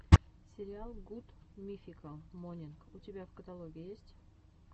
сериал гуд мификал морнинг у тебя в каталоге есть